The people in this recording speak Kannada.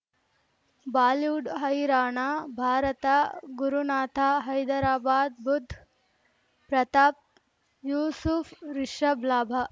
ಬಾಲಿವುಡ್ ಹೈರಾಣ ಭಾರತ ಗುರುನಾಥ ಹೈದರಾಬಾದ್ ಬುಧ್ ಪ್ರತಾಪ್ ಯೂಸುಫ್ ರಿಷಬ್ ಲಾಭ